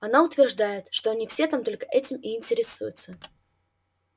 она утверждает что они все там только этим и интересуются